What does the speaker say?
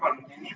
Aitäh!